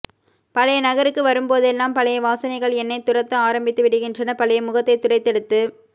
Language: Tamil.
பழைய நகருக்கு வரும்போதெல்லாம் பழைய வாசனைகள் என்னைத் துரத்த ஆரம்பித்துவிடுகின்றன பழைய முகத்தைத் துடைத்தெடுத்து